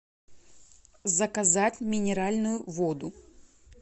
заказать минеральную воду